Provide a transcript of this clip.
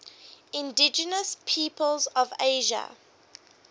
indigenous peoples of asia